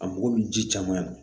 A mago bɛ ji caman na